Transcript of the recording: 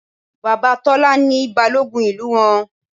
Bàbá Tọ́lá ni Balógun ìlú wọn